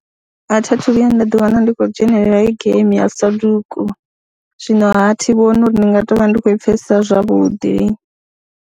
A thi a thu vhuya nda ḓiwana ndi khou dzhenelela hei geimi ya Sadoku, zwinoha thi vhoni uri ndi nga tou vha ndi khou i pfhesesa zwavhuḓi.